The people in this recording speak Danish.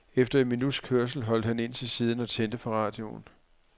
Efter et minuts kørsel holdt han ind til siden og tændte for radioen.